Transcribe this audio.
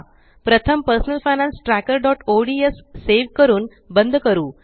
प्रथम personal finance trackerओडीएस save करून बंद करू